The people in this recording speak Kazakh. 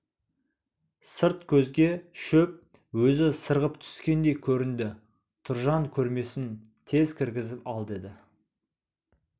сырт көзге шөп өзі сырғып түскендей көрінді тұржан көрмесін тез кіргізіп ал деді